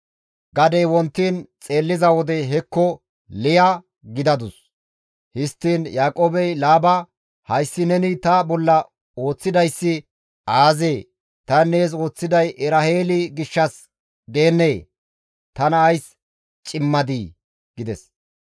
Gadey wontiin xeelliza wode hekko Liya gidadus! Histtiin Yaaqoobey Laaba, «Hayssi neni ta bolla ooththidayssi aazee? Tani nees ooththiday Eraheeli gishshas deennee? Tana ays cimmadii?» gides.